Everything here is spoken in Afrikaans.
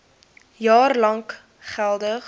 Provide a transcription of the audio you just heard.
jaar lank geldig